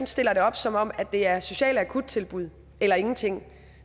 stiller det op som om det er sociale akuttilbud eller ingenting